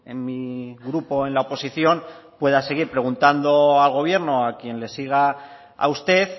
en mi grupo en la oposición pueda seguir preguntando al gobierno a quien le siga a usted